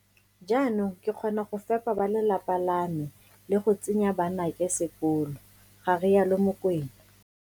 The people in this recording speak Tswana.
Jaanong ke kgona go fepa bale lapa la me le go tsenya banake sekolo, ga rialo Mokoena.